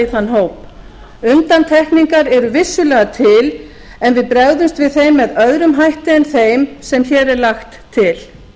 í þann hóp undantekningar eru vissulega til en við bregðumst við þeim með öðrum hætti en þeim sem hér er lagt til